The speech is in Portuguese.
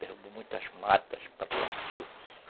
Derrubou muitas matas para plantio.